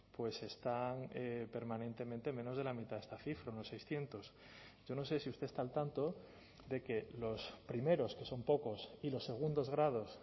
pues están permanentemente menos de la mitad de esta cifra unos seiscientos yo no sé si usted está al tanto de que los primeros que son pocos y los segundos grados